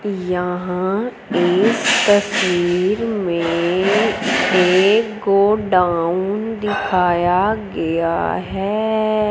यहां इस तस्वीर में एक गोडाउन दिखाया गया है।